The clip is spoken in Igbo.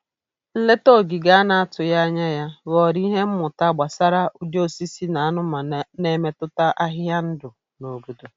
Nleta ogige a na-atụghị anya ya ghọrọ ihe mmụta gbasara ụdị osisi na anumanụ na-emetụta ahịhịa ndụ na obodo.